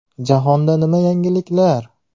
Jahonda nima yangiliklar?